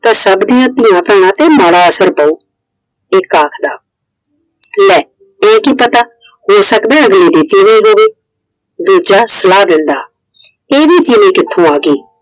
ਤੇ ਸਭ ਦੀਆ ਧੀਆਂ ਬਿਨ ਭੈਣਾਂ ਤੇ ਮਾੜਾ ਅਸਰ ਪਾਓ । ਇੱਕ ਆਖਦਾ ਲੈ ਇਹ ਕੀ ਪਤਾ ਹੋ ਸਕਦਾ ਅਗਲੇ ਦੀ ਤੀਵੀਂ ਹੋਵੇ। ਦੂਜਾ ਸਲਾਹ ਦੇਂਦਾ ਇਹਦੀ ਤੀਵੀਂ ਕਿੱਥੋਂ ਆ ਗਈ?